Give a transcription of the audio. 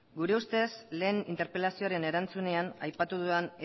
gure ustez lehen interpelazioaren erantzunean aipatu dudan